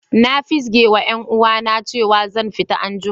Na fizge ma yan uwa na cewa zan fita an'jumma.